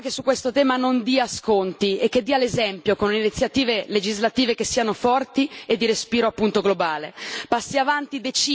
Ecco, c'è bisogno di un'Europa che su questo tema non dia sconti e che dia l'esempio con iniziative legislative che siano forti e di respiro, appunto, globale.